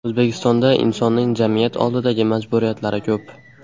O‘zbekistonda insonning jamiyat oldidagi majburiyatlari ko‘p.